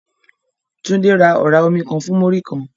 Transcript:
Tunde ra ọ̀rá omi kan fún Múrí-kan